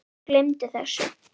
Gleymdu þessu